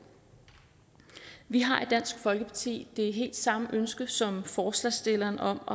vi har i dansk folkeparti det helt samme ønske som forslagsstillerne om